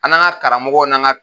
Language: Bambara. An n'an ka karamɔgɔw n'an ka